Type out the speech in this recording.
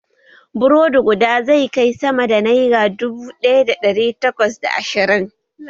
Burodi guda zai kai sama da naira dubu daya da dari takwas da ashirin